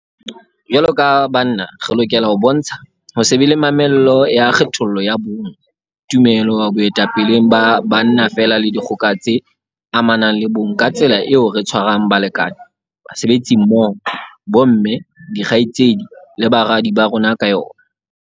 Jwaloka banna re lokela ho bontsha ho se be le mamello ya kgethollo ya bong, tumelo boetapeleng ba banna feela le dikgoka tse amanang le bong ka tsela eo re tshwarang balekane, basebetsimmoho, bomme, dikgaitsedi le baradi ba rona ka yona.